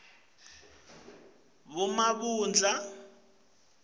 bomavundla